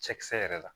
Cɛkisɛ yɛrɛ la